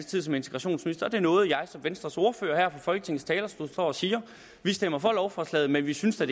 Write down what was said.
tid som integrationsminister og det er noget jeg som venstres ordfører her fra folketingets talerstol står og siger vi stemmer for lovforslaget men vi synes da